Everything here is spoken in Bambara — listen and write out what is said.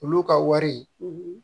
Olu ka wari